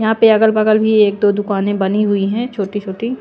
यहां पे अगल-बगल भी एक दो दुकानें बनी हुई हैंछोटी-छोटी--